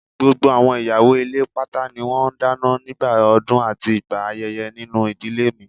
Gbogbo àwọn ìyàwó ilé pátá ni wọ́n ń dáná nígbà ọdún àti ìgbà ayẹyẹ nínú ìdílé mi